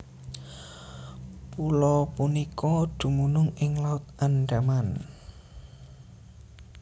Pulo punika dumunung ing Laut Andaman